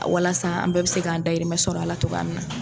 A walasa an bɛɛ bɛ se k'an dayirimɛ sɔrɔ a la togo min na.